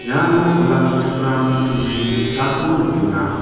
iano olakkichakram kutturi ge·sako nikenga.